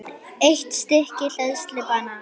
Eitt stykki hleðslu og banana.